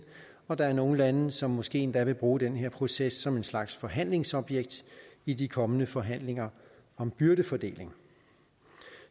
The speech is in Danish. og at der er nogle lande som måske endda vil bruge den her proces som en slags forhandlingsobjekt i de kommende forhandlinger om byrdefordeling